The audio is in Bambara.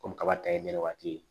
Komi kaba ta ye nɛnɛ waati